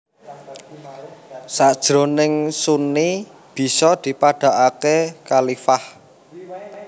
Sajroning Sunni bisa dipadhakake Khalifah